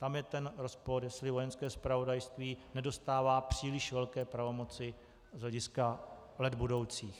Tam je ten rozpor, jestli Vojenské zpravodajství nedostává příliš velké pravomoci z hlediska let budoucích.